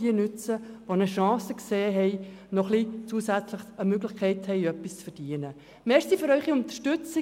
Die, die eine Chance sehen, etwas mehr zu verdienen, werden diese Möglichkeit nutzen.